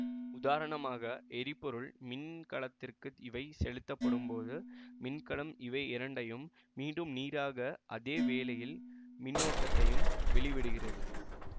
உதாரணமாக எரிபொருள் மின்கலத்திற்கு இவை செலுத்தப்படும் போது மின்கலம் இவையிரண்டையும் மீண்டும் நீராக அதே வேளையில் மின்னோட்டத்தையும் வெளிவிடுகிறது